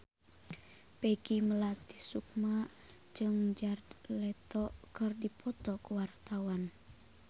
Peggy Melati Sukma jeung Jared Leto keur dipoto ku wartawan